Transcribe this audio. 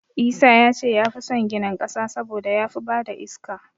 Isa ya ce ya fi san ginin ƙasa saboda ya fi ba da iska.